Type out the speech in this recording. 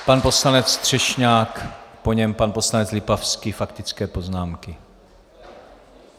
Pan poslanec Třešňák, po něm pan poslanec Lipavský - faktické poznámky.